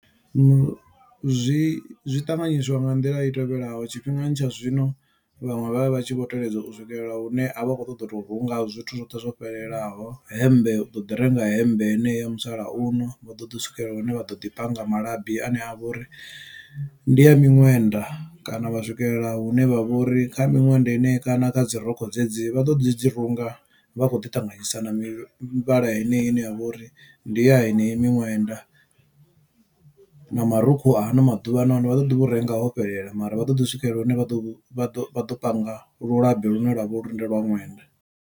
Zwi zwiṱanganyiswa nga nḓila i tevhelaho tshifhingani tsha zwino vhaṅwe vha vha vha tshi vho teledza u swikelela hune a vha a khou ṱoḓa u to hunga zwithu zwoṱhe zwo fhelelaho hemmbe u ḓo ḓi renga hemmbe heneyo. Musalauno vha ḓo ḓi swikelela hune vha ḓo ḓi panga malabi ane a vha uri ndi a miṅwenda kana vha swikelela hune vha vha uri kha miṅwenda henei kana kha dzi rokho dzedzi vha ḓo ḓi dzi runga vha khou ḓi ṱanganyisa na mivhala yeneyo ine ya vha uri ndi ya heneyi miṅwenda na marukhu a haano maḓuvha vha ḓo ḓi vho renga ho fhelela mara vha ṱoḓi u swikelela hune vha ḓo vha ḓo vha ḓo panga lulabi lune lwa vha uri ndi lwa ṅwenda.